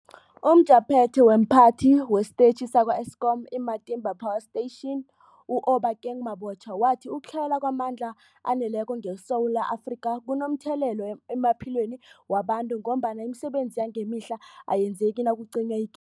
UmJaphethe womPhathi wesiTetjhi sakwa-Eskom i-Matimba Power Station u-Obakeng Mabotja wathi ukutlhayela kwamandla aneleko ngeSewula Afrika kunomthelela emaphilweni wabantu ngombana imisebenzi yangemihla ayenzeki nakucinywaci